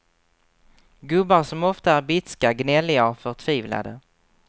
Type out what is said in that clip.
Gubbar som ofta är bitska, gnälliga och förtvivlade.